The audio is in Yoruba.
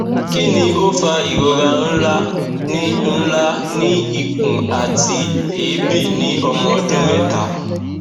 kí ni ó fa ìrora ńlá ní ńlá ní ikùn àti èébì ní ọmọ ọdún mẹ́ta